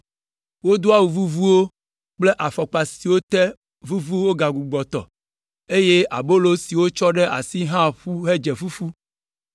Wodo awu vuvuwo kple afɔkpa siwo te vuvu wogbugbɔ tɔ, eye abolo si wotsɔ ɖe asi hã ƒu hedze fufu.